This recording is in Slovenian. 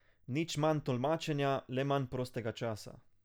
Nič manj tolmačenja, le manj prostega časa.